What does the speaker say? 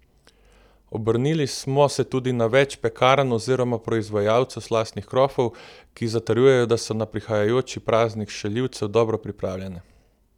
Obrnili smo se tudi na več pekarn oziroma proizvajalcev slastnih krofov, ki zatrjujejo, da so na prihajajoči praznik šaljivcev dobro pripravljene.